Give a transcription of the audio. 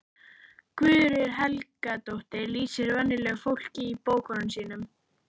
Guðrún Helgadóttir lýsir venjulegu fólki í bókunum sínum.